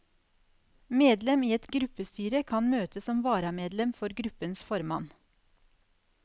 Medlem i et gruppestyre kan møte som varamedlem for gruppens formann.